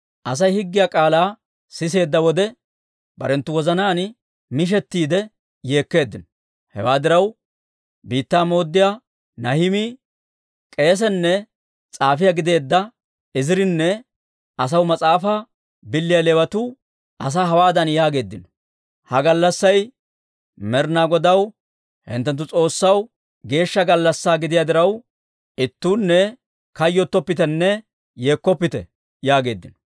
Asay higgiyaa k'aalaa siseedda wode, barenttu wozanaan mishettiide yeekkeeddino. Hewaa diraw, biittaa mooddiyaa Nahimii, k'eesenne s'aafiyaa gideedda Izirinne asaw mas'aafaa biliyaa Leewatuu asaa hawaadan yaageeddino; «Ha gallassay Med'inaa Godaw, hinttenttu S'oossaw, geeshsha gallassaa gidiyaa diraw, ittuunne kayyottoppitenne yeekkoppite» yaageeddino.